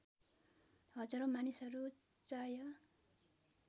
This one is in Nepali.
हजारौ मानिसहरू चाय